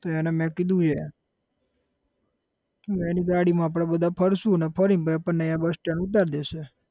તો એને મેં કીધું છે એની ગાડીમાં આપડે બધા ફરસુ અને ફરીને આપણને અહીંયા bus stand ઉતાર દેશે.